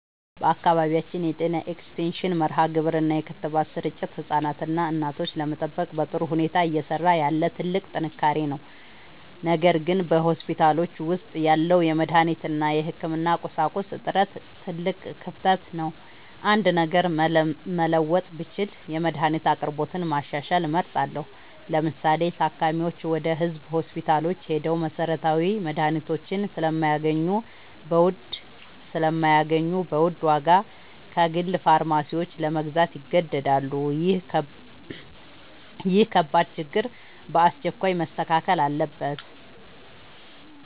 በአካባቢያችን የጤና ኤክስቴንሽን መርሃግብር እና የክትባት ስርጭት ህፃናትንና እናቶችን ለመጠበቅ በጥሩ ሁኔታ እየሰራ ያለ ትልቅ ጥንካሬ ነው። ነገር ግን በሆስፒታሎች ውስጥ ያለው የመድኃኒት እና የህክምና ቁሳቁስ እጥረት ትልቅ ክፍተት ነው። አንድ ነገር መለወጥ ብችል የመድኃኒት አቅርቦትን ማሻሻል እመርጣለሁ። ለምሳሌ፤ ታካሚዎች ወደ ህዝብ ሆስፒታሎች ሄደው መሰረታዊ መድኃኒቶችን ስለማያገኙ በውድ ዋጋ ከግል ፋርማሲዎች ለመግዛት ይገደዳሉ። ይህ ከባድ ችግር በአስቸኳይ መስተካከል አለበት።